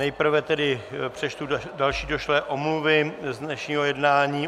Nejprve tedy přečtu další došlé omluvy z dnešního jednání.